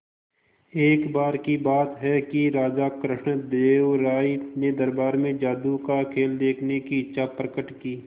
एक बार की बात है कि राजा कृष्णदेव राय ने दरबार में जादू का खेल देखने की इच्छा प्रकट की